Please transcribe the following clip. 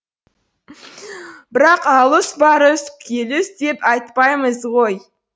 бірақ алұс барұс келүс деп атпаймыз ғой